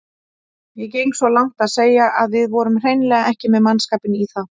Ég geng svo langt að segja að við vorum hreinlega ekki með mannskapinn í það.